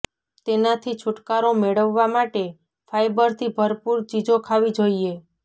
તેનાથી છૂટકારો મેળવવા માટે ફાઈબરથી ભરપૂર ચીજો ખાવી જોઈએ